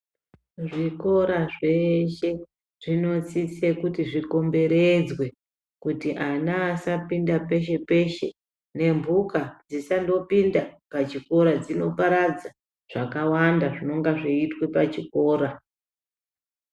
Zvikora zveshe zvinosise kuti zvikomberedzwe kuti ana asapinda peshe-peshe. Nemhuka dzisandopinda pachikora dzinoparadza zvakawanda zvinonga zveiitwa pachikora.